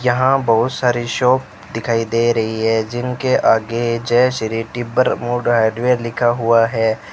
यहां बहुत सारे शॉप दिखाई दे रही है जिनके आगे जय श्री टिब्बर मूड हार्डवेयर लिखा हुआ है।